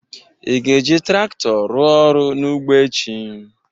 Ị ga-eji trakto ruo ọrụ n'ụgbọ echi?